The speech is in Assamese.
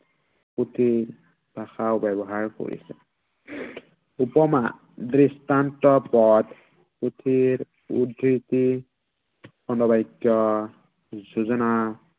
পুথি, ভাষাও ব্য়ৱহাৰ কৰিছে। উহ উপমা। দৃষ্টান্ত পদ, পুথিৰ উদ্ধৃতি খণ্ড বাক্য়, যোঁজনা